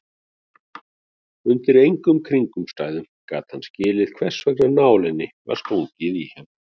Undir engum kringumstæðum gat hann skilið hversvegna nálinni var stungið í hann.